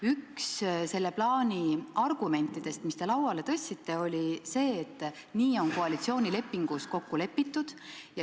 Üks selle plaani argumentidest, mis te esile tõite, oli see, et nii on koalitsioonilepingus kokku lepitud.